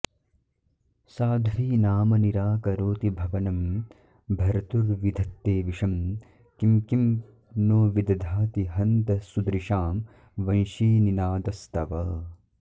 साध्वीनाम निराकरोति भवनं भर्तुर्विधत्ते विषं किं किं नो विदधाति हन्त सुदृशां वंशीनिनादस्तव